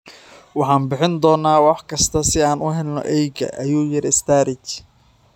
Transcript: Waxaan bixin doonaa wax kasta si aan u helno eyga, ayuu yiri Sturridge.